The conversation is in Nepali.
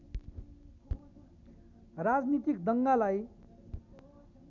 राजनीतिक दङ्गालाई